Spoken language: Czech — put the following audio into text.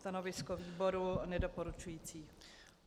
Stanovisko výboru nedoporučující.